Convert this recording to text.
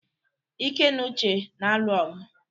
Ike na Uche na-alụ ọgụ.